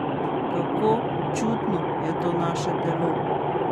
Kako čudno je to naše telo!